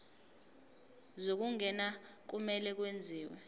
zokungena kumele kwenziwe